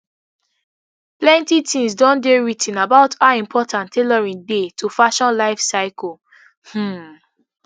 plenty tins don dey writ ten about how important tailoring dey to fashion lifecycle um